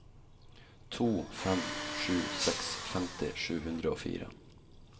to fem sju seks femti sju hundre og fire